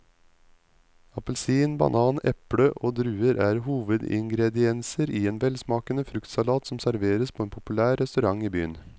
Appelsin, banan, eple og druer er hovedingredienser i en velsmakende fruktsalat som serveres på en populær restaurant i byen.